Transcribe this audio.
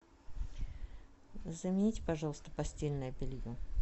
замените пожалуйста постельное белье